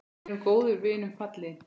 Verður góðum vinum falinn.